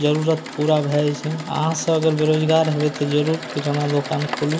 जरूर पूरा भए जाय छै अहां सब अगर बेरोजगार हेबे ते जरूर किराना दुकान खोलू ।